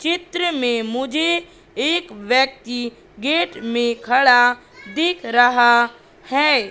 चित्र में मुझे एक व्यक्ति गेट में खड़ा दिख रहा है।